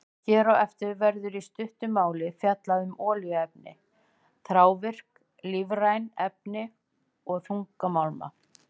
Hér á eftir verður í stuttu máli fjallað um olíuefni, þrávirk lífræn efni og þungmálma.